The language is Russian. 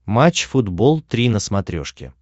матч футбол три на смотрешке